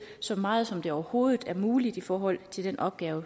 så meget som det overhovedet er muligt i forhold til den opgave